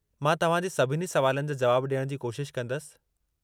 मां तव्हां जे सभिनी सवालनि जा जवाब ॾियण जी कोशिशि कंदसि।